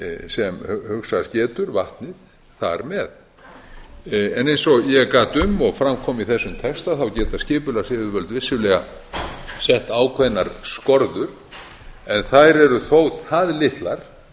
sem hugsast getur vatnið þar með en eins og ég gat um og fram kom í þessum texta þá geta skipulagsyfirvöld vissulega sett ákveðnar skorður en þær eru þó það litlar